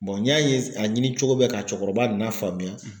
n y'a ye ka ɲini cogo bɛ ka cɛkɔrɔba na faamuya.